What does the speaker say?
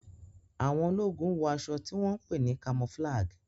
Àwọn ológun wọ aṣọ tí wón pé ní camouflage.